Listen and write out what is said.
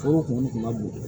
Foro kun ka bon